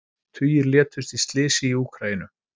Tugir létust í slysi í Úkraínu